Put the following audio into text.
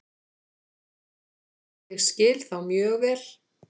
Ég skil þá mjög vel.